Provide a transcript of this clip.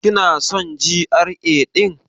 Kina son GRA ɗin?